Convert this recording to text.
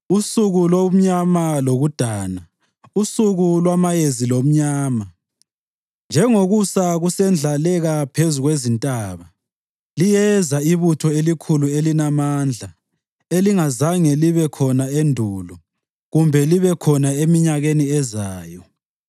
usuku lomnyama lokudana, usuku lwamayezi lobumnyama. Njengokusa kusendlaleka phezu kwezintaba, liyeza ibutho elikhulu elilamandla elingazange libe khona endulo kumbe libe khona eminyakeni ezayo.